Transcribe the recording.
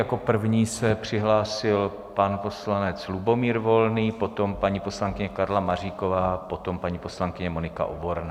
Jako první se přihlásil pan poslanec Lubomír Volný, potom paní poslankyně Karla Maříková, potom paní poslankyně Monika Oborná.